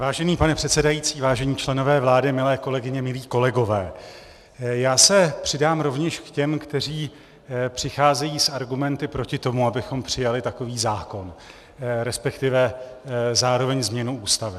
Vážený pane předsedající, vážení členové vlády, milé kolegyně, milí kolegové, já se přidám rovněž k těm, kteří přicházejí s argumenty proti tomu, abychom přijali takový zákon, respektive zároveň změnu Ústavy.